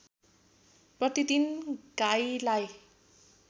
प्रतिदिन गाईलाई